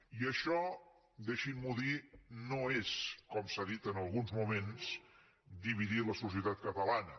i això deixin m’ho dir no és com s’ha dit en alguns moments dividir la societat catalana